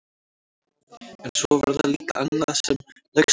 En svo var það líka annað sem laukst upp fyrir mér.